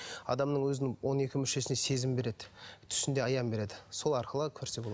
адамның өзінің он екі мүшесіне сезім береді түсінде аян береді сол арқылы көрсе